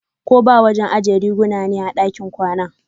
koba wajen ajiya riguna ne a ɗakin kwana.